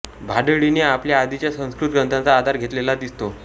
भाडळीने आपल्या आधीच्या संस्कृत ग्रंथांचा आधार घेतलेला दिसतो